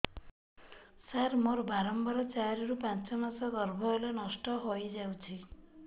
ସାର ମୋର ବାରମ୍ବାର ଚାରି ରୁ ପାଞ୍ଚ ମାସ ଗର୍ଭ ହେଲେ ନଷ୍ଟ ହଇଯାଉଛି